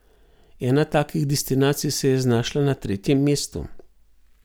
Ena takih destinacij se je znašla na tretjem mestu.